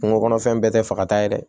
Kungo kɔnɔfɛn bɛɛ tɛ fagata ye dɛ